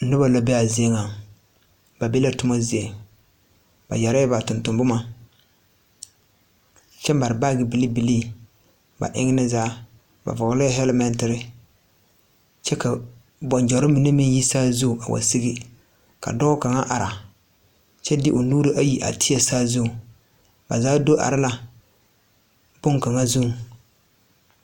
Noba la be a zie nyɛŋ ba be la ba toma zie ba yɛre la ba tontomboma kyɛ mare baage bilee bilee ba enni zaa ba vɔglɛɛ hɛlmɛɛtiri kyɛ la bɔŋgyɔri mine me yi saazu a wa segi ka dɔɔ kaŋa are kyɛ de o nuuri ayi a teɛ saazu ba zaa do are la kpoŋ kaŋa zuŋ.